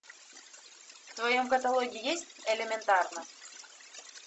в твоем каталоге есть элементарно